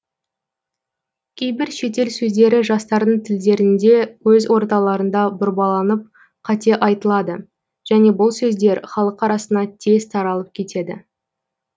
кейбір шетел сөздері жастардың тілдерінде өз орталарында бұрбаланып қате айтылады және бұл сөздер халық арасына тез таралып кетеді